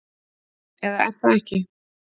Eða er það ekki?